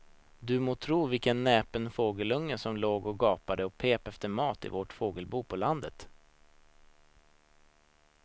Du må tro vilken näpen fågelunge som låg och gapade och pep efter mat i vårt fågelbo på landet.